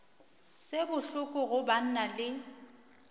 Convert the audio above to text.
se bohloko go banna le